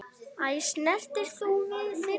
Æ, snertir þú við þyrni?